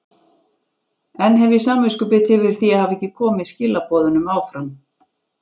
Enn hef ég samviskubit yfir því að hafa ekki komið skilaboðunum áfram.